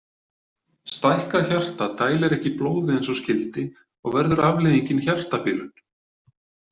Stækkað hjarta dælir ekki blóði eins og skyldi og verður afleiðingin hjartabilun.